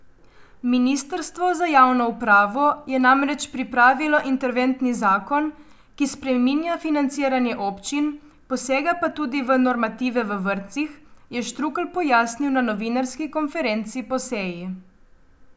Ministrstvo za javno upravo je namreč pripravilo interventni zakon, ki spreminja financiranje občin, posega pa tudi v normative v vrtcih, je Štrukelj pojasnil na novinarski konferenci po seji.